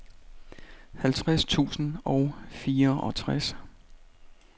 halvtreds tusind og fireogtres